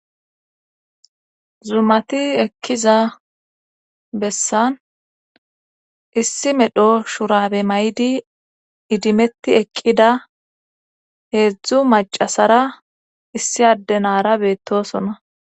zumati ekkiza bessan issi medho shurabe may7di idimetti eqqida heedzdzu macasara issi addenara beettosona.